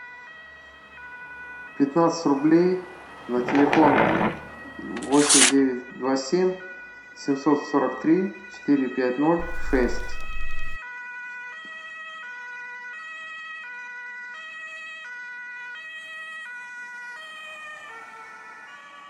пятнадцать рублей на телефон восемь девять два семь семьсот сорок три четыре пять ноль шесть